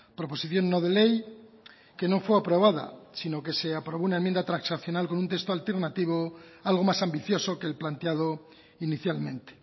proposición no de ley que no fue aprobada sino que se aprobó una enmienda transaccional con un texto alternativo algo más ambicioso que el planteado inicialmente